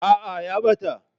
Aa ya ɓata.